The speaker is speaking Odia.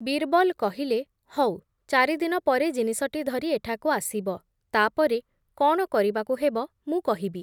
ବୀର୍‌ବଲ୍ କହିଲେ, ହଉ, ଚାରିଦିନ ପରେ ଜିନିଷଟି ଧରି ଏଠାକୁ ଆସିବ, ତା’ ପରେ କ’ଣ କରିବାକୁ ହେବ ମୁଁ କହିବି ।